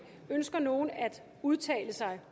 ønsker nogen at udtale sig